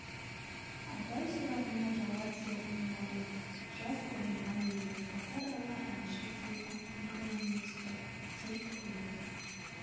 абай сұрағына жауап жоғын барлық жас ұғынған еді базаралы әнші де ақын да емес-ті жұрт күліп